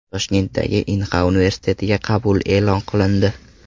Toshkentdagi Inxa universitetiga qabul e’lon qilindi.